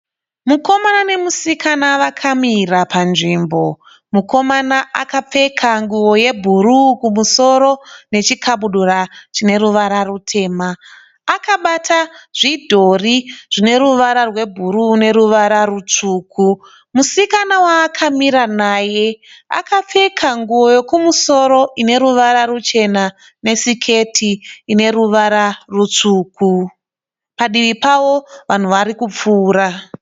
Mukomana nemusikana vakamira panzvimbo. Mukomana akapfeka nguwo yebhuruu kumusoro nechikabudura chine ruvara rutema. Akabata zvidhori zvine ruvara rwebhuruu neruvara rutsvuku. Musikana waakamira naye akapfeka nguwo yekumusoro ine ruvara ruchena nesiketi ine ruvara rutsvuku. Padivi pavo vanhu vari kupfuura.